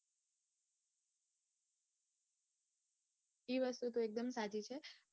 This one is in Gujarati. એ વસ્તુ તો એકદમ સાચી છે.